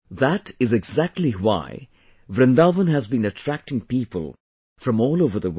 That is exactly why Vrindavan has been attracting people from all over the world